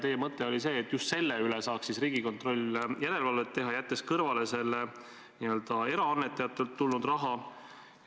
Teie mõte oli see, et just selle üle saaks siis Riigikontroll järelevalvet teha, jättes kõrvale selle eraannetajatelt tulnud raha.